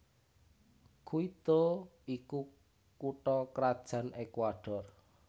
Quito iku kutha krajan Ekuador